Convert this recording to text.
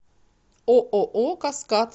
ооо каскад